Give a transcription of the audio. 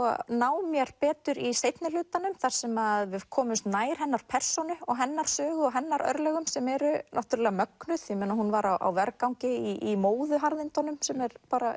ná mér betur í seinni hlutanum þar sem við komumst nær hennar persónu og hennar sögu og hennar örlögum sem eru náttúrulega mögnuð ég meina hún var á vergangi í móðuharðindunum sem er